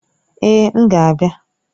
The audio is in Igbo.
Èè! M ga-abịa.